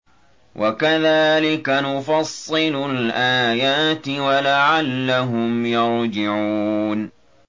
وَكَذَٰلِكَ نُفَصِّلُ الْآيَاتِ وَلَعَلَّهُمْ يَرْجِعُونَ